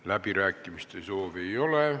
Läbirääkimiste soovi ei ole.